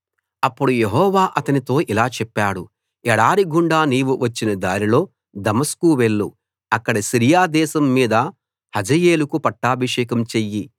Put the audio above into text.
అప్పుడు యెహోవా అతనితో ఇలా చెప్పాడు ఎడారి గుండా నీవు వచ్చిన దారిలో దమస్కు వెళ్ళు అక్కడ సిరియా దేశం మీద హజాయేలుకు పట్టాభిషేకం చెయ్యి